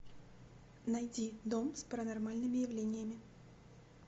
найди дом с паранормальными явлениями